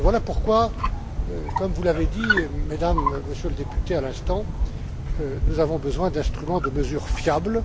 Et voilà pourquoi comme vous l'avez dit, Mesdames, Monsieur le député, à l'instant nous avons besoin d'instruments de mesure fiables.